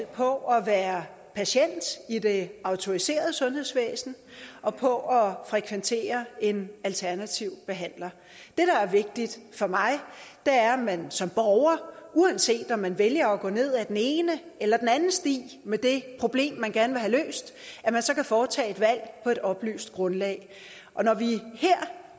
på at være patient i det autoriserede sundhedsvæsen og på at frekventere en alternativ behandler det der er vigtigt for mig er at man som borger uanset om man vælger at gå ned ad den ene eller den anden sti med det problem man gerne vil have løst kan foretage et valg på et oplyst grundlag og når vi her